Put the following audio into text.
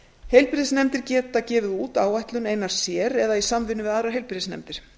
heilbrigðisnefndir geta gefið út áætlun eina sér eða í samvinnu við aðrar heilbrigðisnefndir